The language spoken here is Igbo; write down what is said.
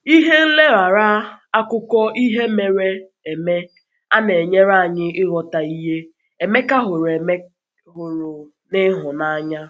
Ihe nlereanya akụkọ ihe mere eme a na-enyere anyị ịghọta ihe Emeka hụrụ Emeka hụrụ n’ịhụnanya.